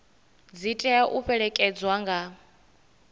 dzi tea u fhelekedzwa nga